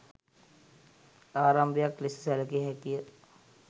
ආරම්භයක් ලෙස සැලකිය හැකිය.